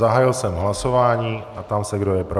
Zahájil jsem hlasování a ptám se, kdo je pro.